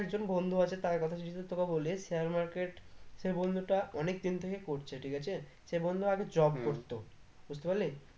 আমারি একজন বন্ধু আছে তার কথাটা যদি তোকে বলি share market সে বন্ধুটা অনেকদিন থেকে করছে ঠিক আছে, সে বন্ধু আগে job করতো বুঝতে পারলি